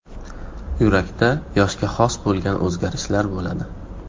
Yurakda yoshga xos bo‘lgan o‘zgarishlar bo‘ladi.